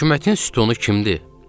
Hökumətin sütunu kimdir?